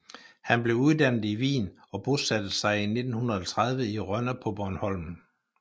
Han blev uddannet i Wien og bosatte sig i 1930 i Rønne på Bornholm